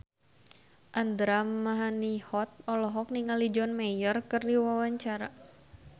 Andra Manihot olohok ningali John Mayer keur diwawancara